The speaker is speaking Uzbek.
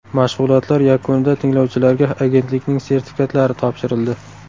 Mashg‘ulotlar yakunida tinglovchilarga agentlikning sertifikatlari topshirildi.